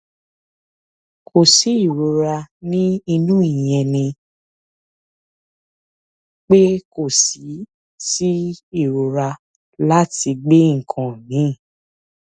kò sí ìrora ní inú ìyẹn ni pé kò sí sí ìrora láti gbé nǹkan mì